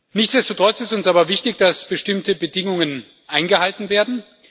Nichtsdestotrotz ist es uns aber wichtig, dass bestimmte Bedingungen eingehalten werden.